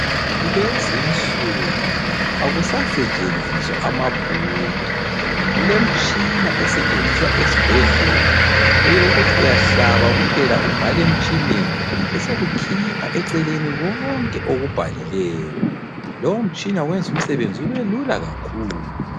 Kulezinsuku akusasentshiziswa amabhuku ,kulemtshina esetshenziswa esibhedlela eyokuthi uyahlaba kuphela ubhale emtshineni , besokukhipha eceleni konke okubhalileyo. Lowu mtshina uyenza umsebenzi ubelula kakhulu.